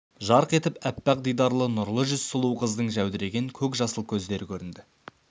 жарқ етіп аппақ дидарлы нұрлы жүз сұлу қыздың жәудіреген көкжасыл көздері көрінді